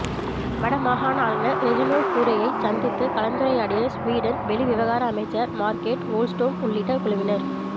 வடமாகாண ஆளுநர் ரெஜினோல்ட் கூரேயைச் சந்தித்து கலந்துரையாடிய சுவீடன் வெளிவிவகார அமைச்சர் மார்கட் வோல்ஸ்டோம் உள்ளிட்ட குழுவினர்